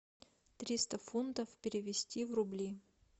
триста фунтов перевести в рубли